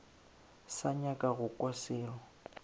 sa nyaka go kwa selo